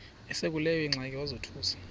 esekuleyo ingxaki wazothuka